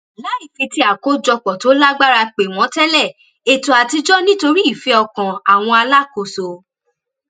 láì fi ti àkójopò tó lágbára pè wọn tẹlé ètò àtijọ nítorí ìfẹ ọkàn àwọn alákòóso